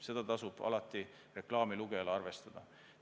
Seda tasub reklaami lugejal alati arvestada.